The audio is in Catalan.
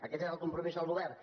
aquest és el compromís del govern